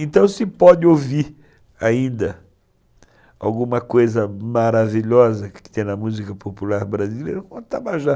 Então se pode ouvir ainda alguma coisa maravilhosa que tem na música popular brasileira, Otabajá.